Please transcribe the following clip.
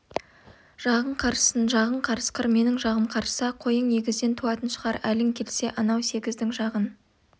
жағың қарыссын жағың қарысқыр менің жағым қарысса қойың егізден туатын шығар әлің келсе анау сегіздің жағын